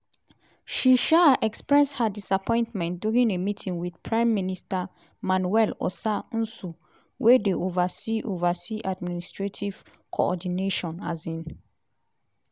she um express her disappointment during a meeting wit prime minister manuel osa nsue wey dey oversee oversee administrative coordination. um